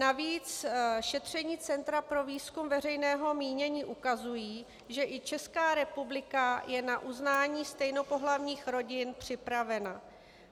Navíc šetření Centra pro výzkum veřejného mínění ukazují, že i Česká republika je na uznání stejnopohlavních rodin připravena.